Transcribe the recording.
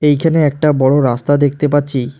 এখানে একটা বড় রাস্তা দেখতে পাচ্ছি।